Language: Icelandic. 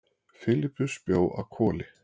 Filippus bjó að Hvoli.